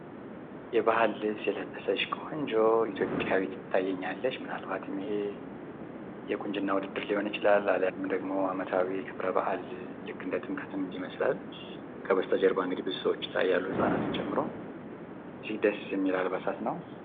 የባህል ልብስ የለበሰች ቆንጆ ኢትዮጵያዊ ትታየኛለች። ምናልባትም ይሄ የቁንጅና ውድድር ሊሆን ይችላል አልያም ደሞ አመታዊ በአል ልክ እንደ ጥምቀትም ይመስላል። ከበስተጀርባ እንግዲ ብዙ ሰዎች ይታያሉ ህጻናትንም ጨምሮ። ደስ ሚል አልባሳት ነው።